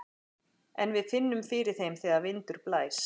En við finnum fyrir þeim þegar vindur blæs.